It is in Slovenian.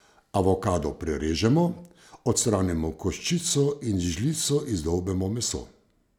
Avokado prerežemo, odstranimo koščico in z žlico izdolbemo meso.